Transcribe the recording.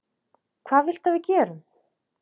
Hvað viltu að við gerum?